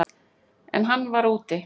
En hann var úti.